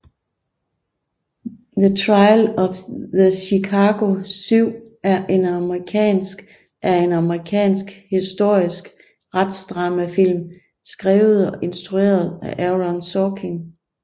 The Trial of the Chicago 7 er en amerikansk er en amerikansk historisk retsdramafilm skrevet og instrueret af Aaron Sorkin